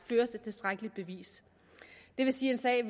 bevis det vil sige at en sag